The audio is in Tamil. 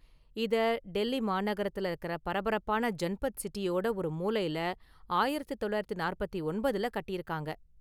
இத, டெல்லி மாநகரத்துல இருக்கிற பரபரப்பான​ ஜன்பத் சிட்டியோட ஒரு மூலையிலஆயிரத்து தொள்ளாயிரத்து நாற்பத்தி ஒன்பதுல கட்டியிருக்காங்க.